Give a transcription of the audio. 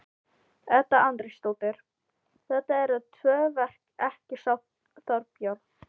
Edda Andrésdóttir: Þetta eru tvö verk ekki satt Þorbjörn?